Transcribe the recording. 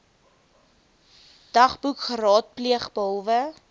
dagboek geraadpleeg behalwe